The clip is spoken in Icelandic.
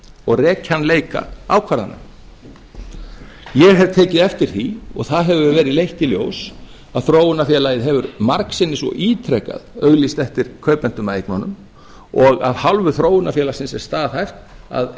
og rekjanleika ákvarðana ég hef tekið eftir því og það hefur verið leitt í ljós að þróunarfélagið hefur margsinnis og ítrekað auglýst eftir kaupendum að eignunum og af hálfu þróunarfélagsins er staðhæft að